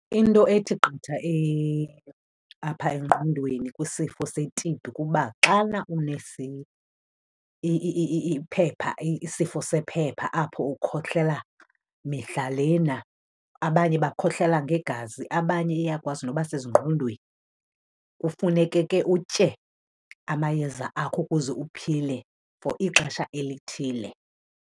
Into ethi qatha apha engqondweni kwisifo se-T_B kuba xana iphepha, isifo sephepha apho ukhohlela mihla lena, abanye bakhohlela ngegazi abanye iyakwazi noba sezingqondweni. Kufuneke ke utye amayeza akho ukuze uphile for ixesha elithile.